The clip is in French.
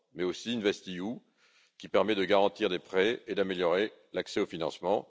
Mais aussi InvestEU, qui permet de garantir des prêts et d'améliorer l'accès au financement.